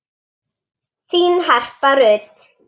Þín Harpa Rut.